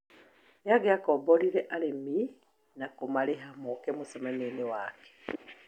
Nĩangĩakomborire arũmĩrĩri na kũmarĩha moke mũcemanioinĩ wake